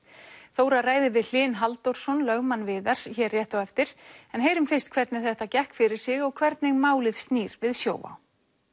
Þóra ræðir við Hlyn Halldórsson lögmann Viðars hér rétt á eftir en heyrum fyrst hvernig þetta gekk fyrir sig og hvernig málið snýr við Sjóvá